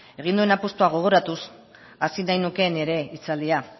egin duen apustua gogoratuz hasi nahi nuke nire hitzaldia